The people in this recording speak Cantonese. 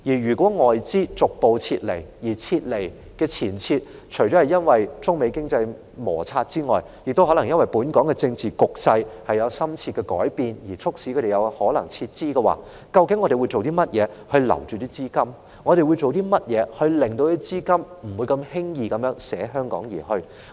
如果外資逐步撤離香港，而促使他們撤離的原因，除了中美貿易摩擦外，亦可能是本港政治局勢有深切的改變的話，究竟我們會做甚麼來留住這些外國資金，令他們不會輕易捨香港而去？